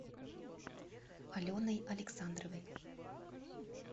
аленой александровой